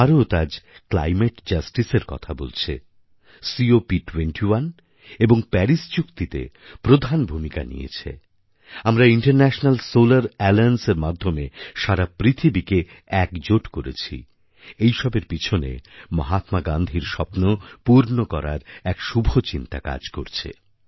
ভারত আজ ক্লাইমেট Justiceএর কথা বলছে কপ 21 এবং পারিস চুক্তিতে প্রধান ভূমিকা নিয়েছে আমরাInternational সোলার Allianceএর মাধ্যমে সারা পৃথিবীকে একজোট করেছি এই সবের পিছনে মহাত্মা গান্ধীর স্বপ্ন পূর্ণ করার এক শুভ চিন্তা কাজ করছে